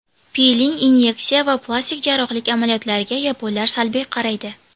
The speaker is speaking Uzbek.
Piling, inyeksiya va plastik jarrohlik amaliyotlariga yaponlar salbiy qaraydi.